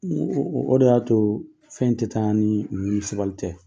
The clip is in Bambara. N go o de y'a to fɛn tɛ taa ni muɲu ni sabali tɛ